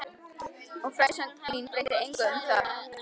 Og frásögn mín breytir engu þar um.